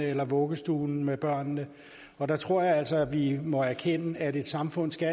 eller vuggestuen med børnene og der tror jeg altså vi må erkende at et samfund skal